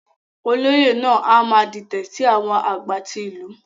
Olóyè náà a má dìtẹ sí àwọn agbá tí ìlú.